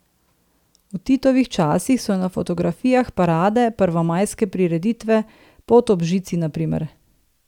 V Titovih časih so na fotografijah parade, prvomajske prireditve, pot ob žici na primer.